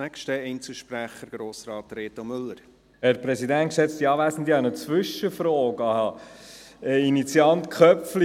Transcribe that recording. Ich habe eine Zwischenfrage an den Initianten Köpfli.